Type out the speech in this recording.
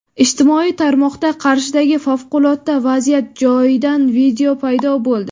Ijtimoiy tarmoqda Qarshidagi favqulodda vaziyat joyidan video paydo bo‘ldi.